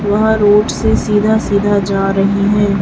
वह रोड से सीधा सीधा जा रही हैं।